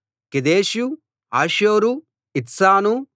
కెదెషు హాసోరు ఇత్నాను